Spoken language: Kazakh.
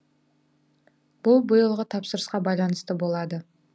бұл биылғы тапсырысқа байланысты болады